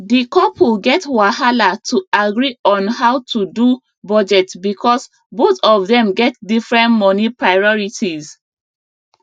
the couple get wahala to agree on how to do budget because both of them get different money priorities